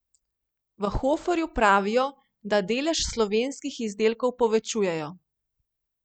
V Hoferju pravijo, da delež slovenskih izdelkov povečujejo.